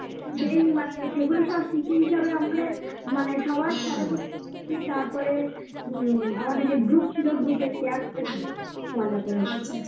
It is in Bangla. সেই মানে সেগুলো সব স্মৃতি হিসাবে আমাদের মানে সবার তারপরে উম আমাদের যে group ছিল group এ share করেছি খুব মজা করেছি